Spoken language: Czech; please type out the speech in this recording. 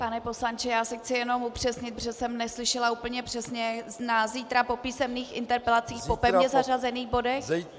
Pane poslanče, já si chci jenom upřesnit, protože jsem neslyšela úplně přesně - na zítra po písemných interpelacích po pevně zařazených bodech?